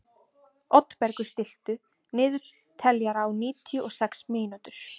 Oddbergur, stilltu niðurteljara á níutíu og sex mínútur.